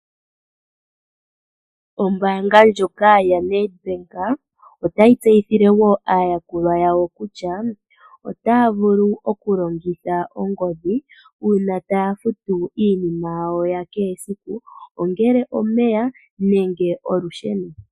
Ombaanga ndjoka yaNedbank otayi tseyithile aayakulwa yawo kutya otaya vulu okulongitha ongodhi uuna taya futu iinima yawo ya kehe esiku, ongele omeya nenge olusheno.